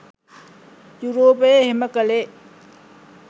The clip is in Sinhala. යුරෝපය එහෙම කළේ